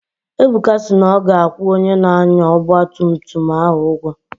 Ebuka si na ọ ga-akwụ onye na-anya ọgba tum tum ahụ ụgwọ